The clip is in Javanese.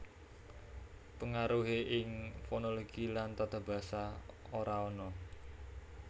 Pengaruhé ing fonologi lan tatabasa ora ana